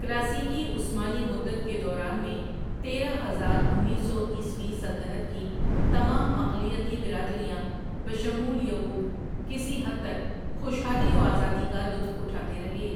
کلاسیکی عثمانی مدت کے دوران میں تیرہ ہزار انیس سو عیسوی سلطنت کی تمام اقلیتی برادریاں بشمول یہود کسی حد تک خوشحالی و آزادی کا لطف اٹھاتے رہے ۔